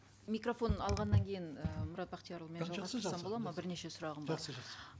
микрофон алғаннан кейін ііі мұрат бақтиярұлы бірнеше сұрағым бар жақсы жақсы